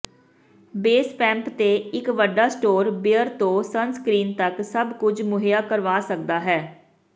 ਬੇਸਪੈੰਪ ਤੇ ਇਕ ਵੱਡਾ ਸਟੋਰ ਬੀਅਰ ਤੋਂ ਸਨਸਕ੍ਰੀਨ ਤੱਕ ਸਭ ਕੁਝ ਮੁਹੱਈਆ ਕਰਵਾ ਸਕਦਾ ਹੈ